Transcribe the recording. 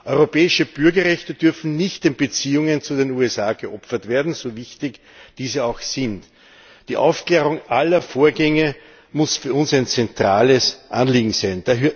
Europäische Bürgerrechte dürfen nicht den Beziehungen zu den USA geopfert werden, so wichtig diese auch sind. Die Aufklärung aller Vorgänge muss für uns ein zentrales Anliegen sein.